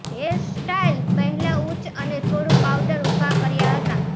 hairstyle મહિલા ઉચ્ચ અને થોડું પાઉડર ઊભા કર્યા હતા